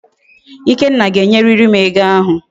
Ikenna ga enyiririm ego ahu